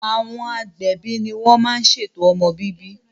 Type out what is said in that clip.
Àwọn agbẹ̀bi ní wọ́n má n ṣètò ọmọ bíbí